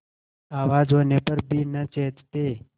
आवाज होने पर भी न चेतते